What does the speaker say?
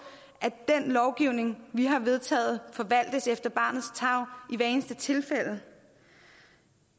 at den lovgivning vi har vedtaget forvaltes efter barnets tarv i hvert eneste tilfælde